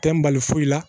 Tɛ n bali foyi la